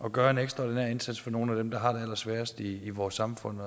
at gøre en ekstraordinær indsats over for nogle af dem der har det allersværest i vores samfund